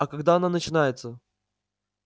а когда оно начинается